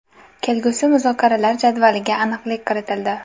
Kelgusi muzokaralar jadvaliga aniqlik kiritildi.